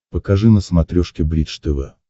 покажи на смотрешке бридж тв